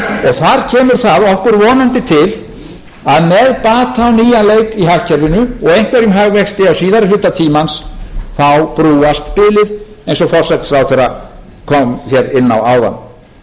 þar kemur þar okkur vonandi til að með bata á nýjan leik í hagkerfinu og eitt af þeim hagvexti á síðari hluta tímans þá brúast bilið eins og forsætisráðherra kom hérna inn á áðan en hugleiðum aðeins